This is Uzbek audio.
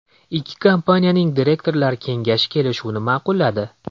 Ikki kompaniyaning direktorlar kengashi kelishuvni ma’qulladi.